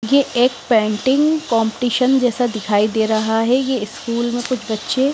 ये एक painting competition जैसा दिखाई दे रहा है ये स्कूल में कुछ बच्चे--